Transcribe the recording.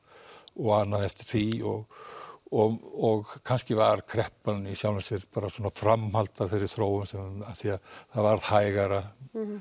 og annað eftir því og og kannski var kreppan bara framhald af þeirri þróun af því að það varð hægara